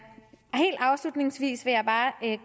helt afslutningsvis vil jeg bare